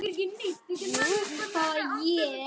Guð blessi þig, amma.